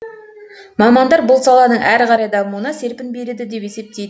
мамандар бұл саланың әрі қарай дамуына серпін береді деп есептейді